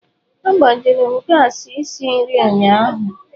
Agbajuru m gassi isi nri ụnyaahụ.